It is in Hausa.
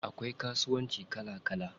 Akwai kasuwanci kala kala.